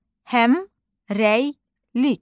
Həmrəylik.